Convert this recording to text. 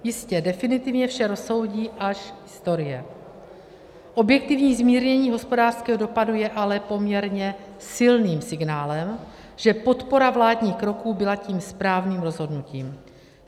Jistě, definitivně vše rozsoudí až historie, objektivní zmírnění hospodářského dopadu je ale poměrně silným signálem, že podpora vládních kroků byla tím správným rozhodnutím.